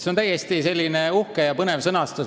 See on uhke ja põnev sõnastus.